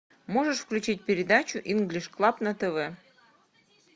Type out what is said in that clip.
можешь включить передачу инглиш клаб на тв